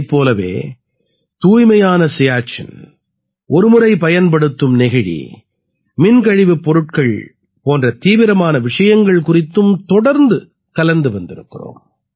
இதைப் போலவே தூய்மையான சியாச்சின் ஒரு முறை பயன்படுத்தும் நெகிழி மின் கழிவுப் பொருட்கள் போன்ற தீவிரமான விஷயங்கள் குறித்தும் தொடர்ந்து கலந்து வந்திருக்கிறோம்